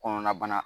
Kɔnɔna bana